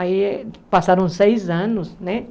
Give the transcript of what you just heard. Aí passaram seis anos, né?